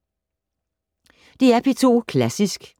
DR P2 Klassisk